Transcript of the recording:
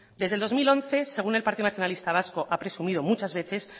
desde el dos mil once según el partido nacionalista vasco ha presumido muchas veces